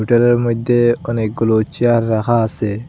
হোটেলের মইধ্যে অনেকগুলো চেয়ার রাখা আসে।